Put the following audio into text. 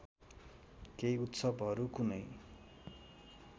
केही उत्सवहरू कुनै